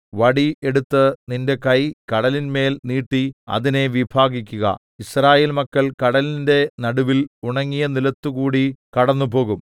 വടി എടുത്ത് നിന്റെ കൈ കടലിന്മേൽ നീട്ടി അതിനെ വിഭാഗിക്കുക യിസ്രായേൽ മക്കൾ കടലിന്റെ നടുവിൽ ഉണങ്ങിയ നിലത്തുകൂടി കടന്നുപോകും